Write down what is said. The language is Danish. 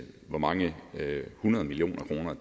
hvor mange hundrede millioner af kroner